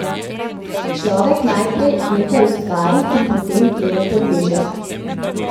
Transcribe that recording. Človek najprej nekaj ustvari in potem temu podleže.